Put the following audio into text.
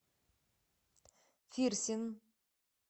фирсин